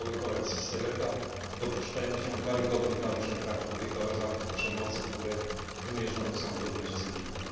Oddziały koalicji Seleka dopuszczają się karygodnych naruszeń praw człowieka oraz aktów przemocy, które wymierzone są przeciwko ludności cywilnej.